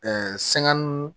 sɛgɛn